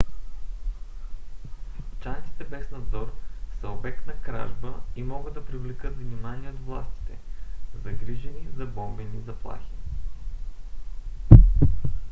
чантите без надзор са обект на кражба и могат да привлекат внимание от властите загрижени за бомбени заплахи